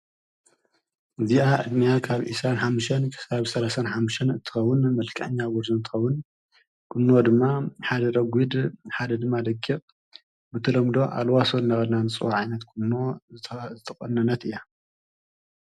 እዚኣ ዕድማያ ካብ ኢሳን ኃምሽን ክሳብ ሠንሓምሽን እትኸውን መልካአኛ ውርዘንተዉን ቅኖ ድማ ሓደ ረጕድ ሓደ ድማ ደግቕ ብትሎምዶ ኣልዋሶን ነቐናንጽው ዓይነት ቅኖ ዘተቖነነት እያ።